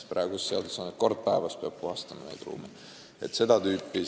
Praeguses seaduses on, et kord päevas peab neid ruume puhastama.